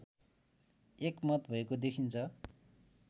एकमत भएको देखिन्छ